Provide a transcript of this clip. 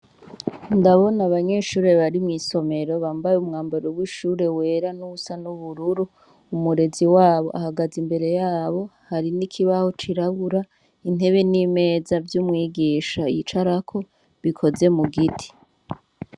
Ndabona abanyeshure bari mwisomero bambaye umwambaro w' ishure wera nuwusa n' ubururu umurezi wabo ahagaze imbere yabo hari n' ikibaho cirabura intebe n' imeza vy’umwigisha yicarako bikoze mugiti.